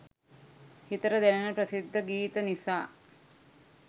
හිතට දැනෙන ප්‍රසිද්ධ ගීත නිසා